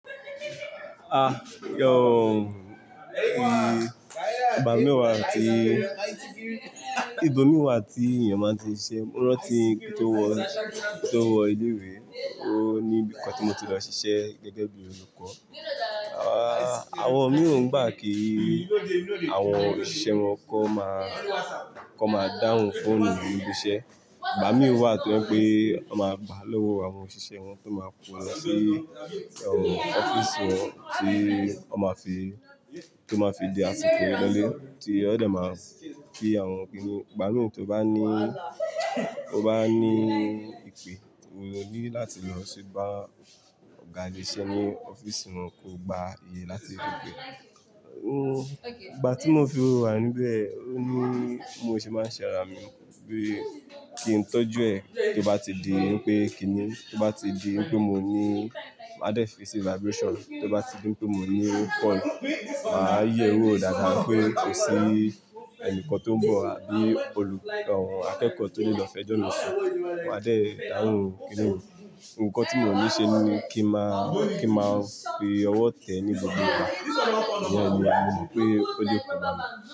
Ìgbà mìí wà tí, ìbò mìí wà tí ènìyàn máa ń ṣe, mo rántí kí n tó wọ, kí n tó wọ ilé ìwé, o ní bí i nǹkan tí mo ti lọ ṣiṣẹ́ gẹ́gẹ́ bí olùkọ́. Àwọn mìí ó ń gbà kí àwọn òṣìṣẹ́ wọn kí wọ́n máa, kí wọ́n máa dáhùn fóònù nínú ibi iṣẹ́. Ìgbà mìí wà tó jẹ́ pé wọ́n máa gbà á lọ́wọ́ àwọn òṣìṣẹ́ wọn tí wọ́n máa kó lọ sí ọ́fíísì wọn tí wọ́n máa fi, tó máa fi di àsìkò lólè, tí wọ́n dè máa fi àwọn kíní. Ìgbà mìíràn tí ó bá ní, ó bá ní ìpè, òun ló ní láti lọ ṣú bá ọ̀gá ilé iṣẹ́ ní ọ́fíísì wọn kó gba iye láti fi gbé. Ìgbà tí mo fi owó rà níbẹ̀, ó ní mo ṣe máa ṣẹ ara mi bí i kí n tọ́jú ẹ̀ kí ó bá ti di wípé kíní, kí ó bá ti di wípé mo ní máa dẹ́ fi sí vibration, kí ó bá ti di wípé mo ní call, mà á yẹ̀ ẹ́ wò dáadáa pé kò sí ẹnìkan tó ń bọ̀ àbí olù, àwọn akẹ́kọ̀ọ́ tó ní lọ fẹjọ́ mi sùn. Mà á dẹ́ dáhùn kíní wọn. Ǹnkan tí mo ń ṣe ni kí n má fi owó tẹ̀ẹ́ ní gbogbo ara tó rí pé, ó lè kó bá mi.